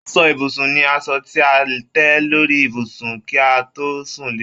Aṣọ ibùsùn ni aṣọ ti a tẹ lórí ibùsùn kí a to sún le